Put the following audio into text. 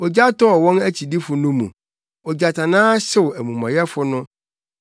Ogya tɔɔ wɔn akyidifo no mu; ogyatannaa hyew amumɔyɛfo no.